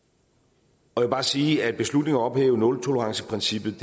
og jeg vil bare sige at beslutningen om at ophæve nultoleranceprincippet